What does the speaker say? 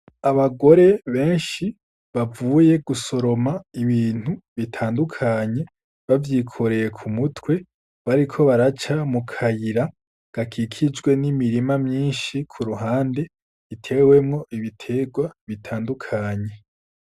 Abagore benshi bavuye gusoroma ibintu bitandukanye bavyikoreye ku mutwe bariko baraca mu kayira gakikijwe n'imirima myinshi ku ruhande itewemwo ibiterwa bitandukanye.